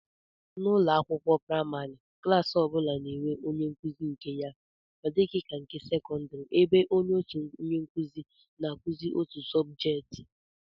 N'ụlọakwụkwọ praịmarị, klaasị ọ bụla na-enwe onyenkụzi nke ya, ọ dịghị ka nke sekọndịrị ebe otu onyenkụzi na-akụzi otu sọbjeet